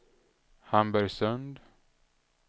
Hamburgsund